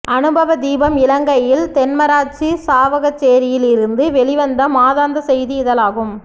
அனுபவ தீபம் இலங்கையில் தென்மராட்சி சாவக்கச்சேரியிலிருந்து வெளிவந்த மாதாந்த செய்தி இதழாகும்